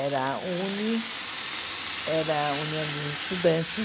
Era a UNE era a União dos Estudantes.